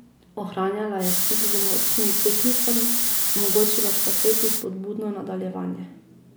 Ohranjala je stik z močnimi tekmicami, omogočila štafeti spodbudno nadaljevanje.